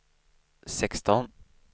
sexton